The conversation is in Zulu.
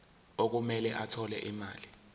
okumele athole imali